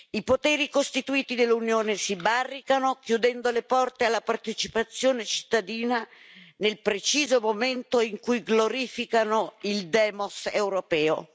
I poteri costituiti dell'Unione si barricano chiudendo le porte alla partecipazione cittadina nel preciso momento in cui glorificano il demos europeo.